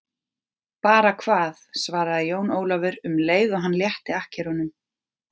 Bara hvað, svaraði Jón Ólafur um leið og hann létti akkerunum.